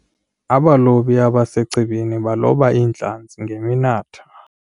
Abalobi abasechibini baloba iintlanzi ngeminatha.